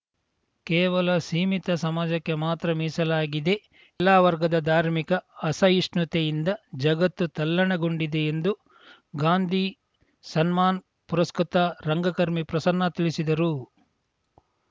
ಕೇವಲ ಸೀಮಿತ ಸಮಾಜಕ್ಕೆ ಮಾತ್ರ ಮೀಸಲಾಗಿದೆ ಎಲ್ಲ ವರ್ಗದ ಧಾರ್ಮಿಕ ಅಸಹಿಷ್ಣುತೆಯಿಂದ ಜಗತ್ತು ತಲ್ಲಣಗೊಂಡಿದೆ ಎಂದು ಗಾಂಧಿ ಸನ್ಮಾನ್‌ ಪುರಸ್ಕೃತ ರಂಗಕರ್ಮಿ ಪ್ರಸನ್ನ ತಿಳಿಸಿದರು